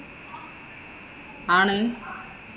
ആണ്.